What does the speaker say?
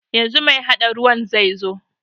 Yanzu mai haɗa ruwan zaizo.